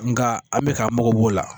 Nka an bɛ k'an mago b'o la